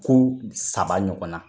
Ko saba ɲɔgɔn na.